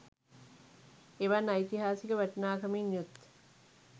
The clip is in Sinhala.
එවන් ඓතිහාසික වටිනාකමින් යුත්